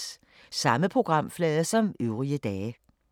Samme programflade som øvrige dage